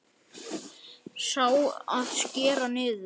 Sá, að skera niður.